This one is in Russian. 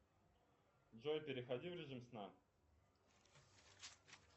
джой переходи в режим сна